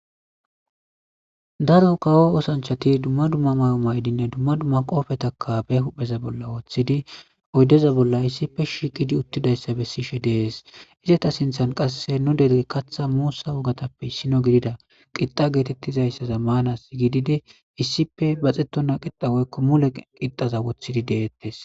daro kawo osanchati dumma dumma may7o maydinne dumma dumma qoofetakabe huhpheza bolla woththidi oyddeza bolla issippe shiqidi uttidayssa bessishe dees izeta sinthan qasse nu dere katha muussa wogatappe issino gidida qixa geetettizayssa zammanas gididi issippe baxetona qixaweykko mule qixxaza woththidi deettes